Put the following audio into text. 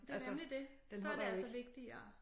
Det nemlig det så det altså vigtigere